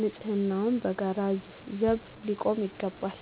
ለንፅህናው በጋራ ዘብ ሊቆም ይገባል።